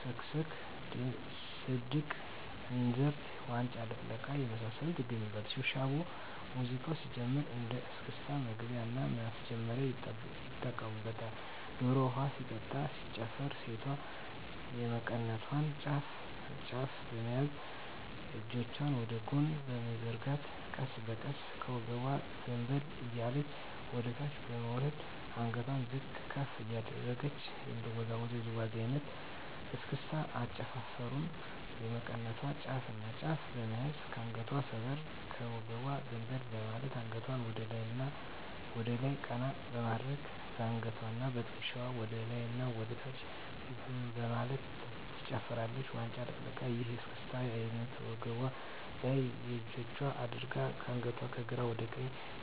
ስክስክ ድስቅ እንዝርት ዋንጫ ልቅለቃ የመሳሰሉት ይገኛሉ። ሽብሻቦ ሙዚቃው ሲጀምር እንደ እስክስታ መግቢያና ማስጀመሪያ ይጠቀሙበታል። ዶሮ ውሀ ሲጠጣ ሲጨፈርም ሴቷ የመቀነቷን ጫፍና ጫፍ በመያዝ እጆቿን ወደ ጎን በመዘርጋት ቀስ በቀስ ከወገቧ ዘንበል እያለች ወደታች በመውረድ አንገቷን ዝቅ ከፍ እያደረገች የምትወዛወዘው ውዝዋዜ አይነት ነው። ስክስክ አጨፋፈሩም የመቀነቷን ጫፍና ጫፍ በመያዝ ከአንገቷ ሰበር ከወገቧ ዘንበል በማለት አንገቷን ወደላይ ቀና በማድረግ በአንገትዋና በትክሻዋ ወደላይና ወደታች በማለት ትጨፍራለች። ዋንጫ ልቅለቃ ይህ የእስክስታ አይነት ወገቧ ላይ እጆቿን አድርጋ አንገቷን ከግራ ወደ ቀኝ በመነቅነቅ በማሽከርከር የሚጨፍሩት ነው።